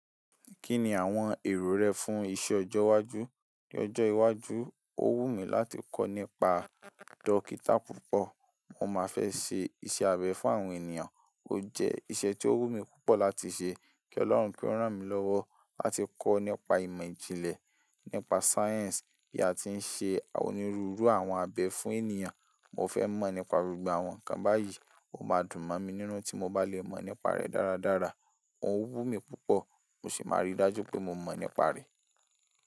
Kí ni àwọn èrò rẹ fún iṣẹ́ ọjọ́ iwájú? Ni ọjọ́ iwájú, ó wù mí láti kọ́ nípa dókítà púpọ̀. Mo máa fẹ́ ṣe iṣẹ́ abẹ fún àwọn ènìyàn. Ó jẹ́ iṣẹ́ tí ó wù mí púpọ̀ láti ṣe kí Ọlọ́run kí órán mi lọ́wọ́ láti kọ́ nípa ìmọ̀-jinlẹ nípa sáyẹ̀nsì bí a ti ń ṣe onírúurú àwọn abẹ fún ènìyàn. Mo fẹ́ mọ̀ nípa rùgbà wọn kan báyìí, ó máa dùn mọ́ mi nínú tí mo bá lè mọ̀ nípa rẹ̀ dáradára. O wù mí púpọ̀, mo sì máa rí dájú pé mo mọ̀ nípa rẹ̀.